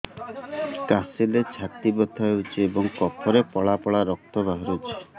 କାଶିଲେ ଛାତି ବଥା ହେଉଛି ଏବଂ କଫରେ ପଳା ପଳା ରକ୍ତ ବାହାରୁଚି